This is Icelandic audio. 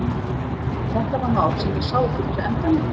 En þetta var mál sem hann sá ekki fyrir endann á.